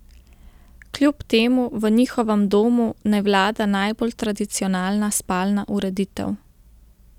Kljub temu v njihovem domu ne vlada najbolj tradicionalna spalna ureditev.